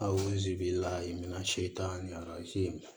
A ozi b'i la mina se tan ni a se